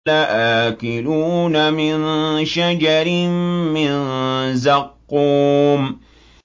لَآكِلُونَ مِن شَجَرٍ مِّن زَقُّومٍ